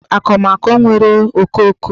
Ọ bụ akụmakụ nwere okooko?